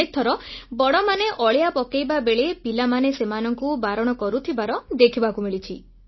ଅନେକଥର ବଡ଼ମାନେ ଅଳିଆ ପକାଇବା ବେଳେ ପିଲାମାନେ ସେମାନଙ୍କୁ ବାରଣ କରୁଥିବା ଦେଖିବାକୁ ମିଳିଛି